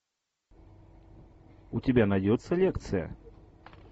у тебя найдется лекция